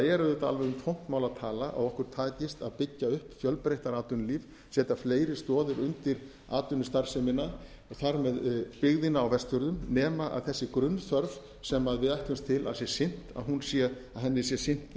alveg um tómt mál að tala að okkur takist að byggja fjölbreyttara atvinnulíf setja fleiri stoðir undir atvinnustarfsemina og þar með byggðina á vestfjörðum nema þessi grunnþörf sem við ætlumst til að sé sinnt að henni sé sinnt